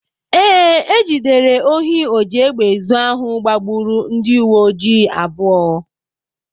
Ee, e jidere ohi ojiegbeezu ahụ gbagburu ndị uwe ojii abụọ